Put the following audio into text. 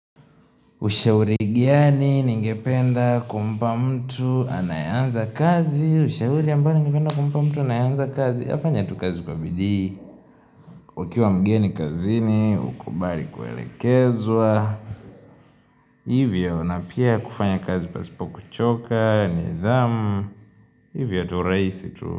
Ushauri gani ningependa kumpa mtu anayeanza kazi Ushauri ambaye ningependa kumpa mtu anayeanza kazi afanye tu kazi kwa bidii ukiwa mgeni kazini ukubali kuelekezwa Hivyo na pia kufanya kazi pasipo kuchoka nidhamu Hivyo tu rahisi tu.